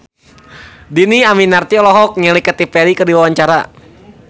Dhini Aminarti olohok ningali Katy Perry keur diwawancara